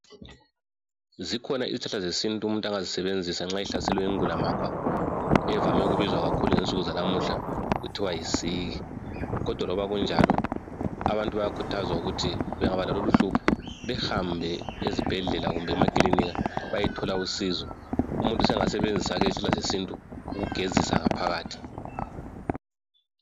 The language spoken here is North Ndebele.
Zikhona izihlahla zesintu umuntu angazisebenzisa nxa ehlaselwe yingulamakwa evame ukubizwa kakhulu ngensuku zalamhla kuthiwa yisiki kodwa loba kunjalo abantu bayakhuthazwa ukuthi bengaba lalolu uhlupho behambe ezibhedlela kumbe emakilinika bayethola usizo. Umuntu sengasebenzisa lezi izihlahla zesintu ukugezisa ngaphakhathi